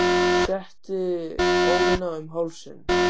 Setti ólina um hálsinn.